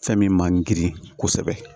Fɛn min man girin kosɛbɛ